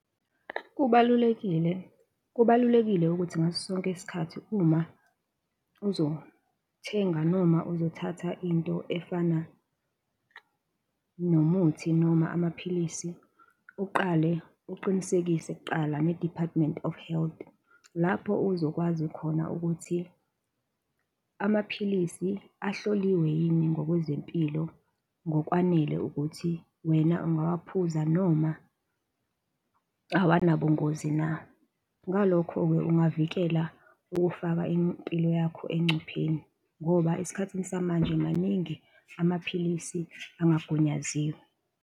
Kubalulekile, kubalulekile ukuthi ngaso sonke isikhathi uma uzothenga noma uzothatha into efana nomuthi noma amaphilisi, uqale uqinisekise kuqala ne-Department of Health, lapho uzokwazi khona ukuthi amaphilisi ahloliwe yini ngokwezempilo ngokwanele ukuthi wena ungawaphuza noma awanobungozi na? Ngalokho-ke ungavikela ukufaka impilo yakho engcupheni, ngoba esikhathini samanje maningi amaphilisi angagunyaziwe.